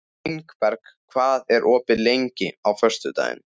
Ingberg, hvað er opið lengi á föstudaginn?